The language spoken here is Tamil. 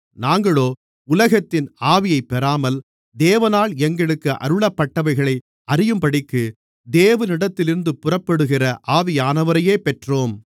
நாங்களோ உலகத்தின் ஆவியைப் பெறாமல் தேவனால் எங்களுக்கு அருளப்பட்டவைகளை அறியும்படிக்கு தேவனிடத்திலிருந்து புறப்படுகிற ஆவியானவரையே பெற்றோம்